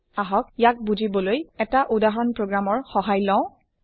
আহক ইয়াক বুজিবলৈ এটা উদহৰণ প্ৰগ্ৰাম ৰ সহায় লওঁ